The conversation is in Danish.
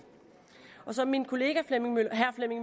som min kollega